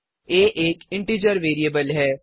आ एक integer variable है